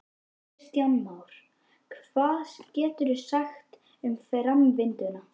Kristján Már: Hvað geturðu sagt um framvinduna?